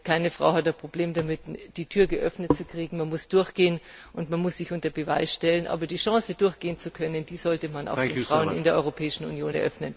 Keine Frau hat ein Problem damit, die Tür geöffnet zu bekommen. Man muss durchgehen und sich unter Beweis stellen. Aber die Chance, durchgehen zu können, die sollte man auch den Frauen in der Europäischen Union eröffnen.